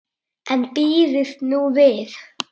En bíðið nú við.